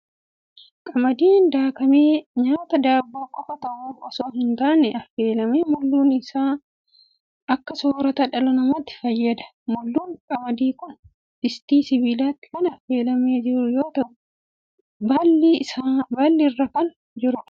Qamadiin daakamee nyaata daabboo qofaa ta'uuf osoo hin taane, affeelamee mulluu ta'uun akka soorata dhala namaatti fayyada. Mulluun qamadii kun distii sibiilaatti kan affeelamee jiru yoo ta'u, baalli irra kan jirudha.